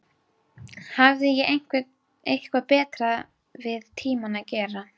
Hafði ég eitthvað betra við tímann að gera?